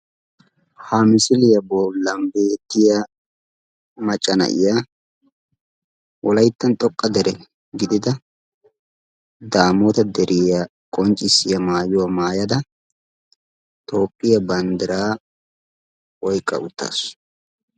Ha misiliya bollan beettiyaa macca na'iya wolayttan xoqqa dere gidida daamota deriya qonccissiya maayyua maayyada Toophphiya banddira oyqqa uttaasu.